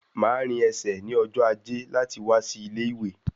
Máa rìn ẹsẹ̀ ní ọjọ ajé láti wá sí ilé-ìwé